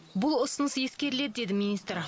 бұл ұсыныс ескеріледі деді министр